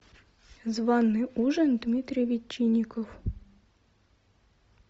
званый ужин дмитрий ветчинников